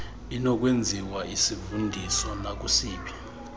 inokwenziwa isivundiso nakusiphi